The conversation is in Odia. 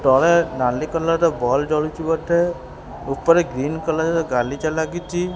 ତଳେ ନାଲି କଲର୍ ର ବଲ ଜଳୁଚି ଗୋଟେ ଉପରେ ଗ୍ରୀନ କଲର୍ ର ଗାଲିଚା ଲାଗିଚି।